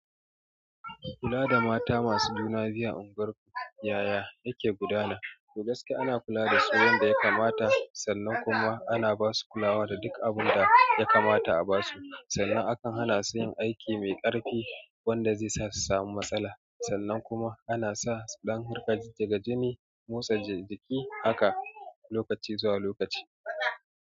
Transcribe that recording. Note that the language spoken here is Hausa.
Kula da mata masu juna biyu a unguwar yaya yake gudana. To gaskiya ana kula dasu yanda yakamata kuma sannan kuma ana basu kulawa da duk abunda yakamata a basu. Sannan akan hana su yin aiki mai ƙarfi wanda zai sa su samu matsala. Sannan kuma ana sa su ɗan riƙa jijjiga jini, motsa jiki haka lokaci zuwa lokaci.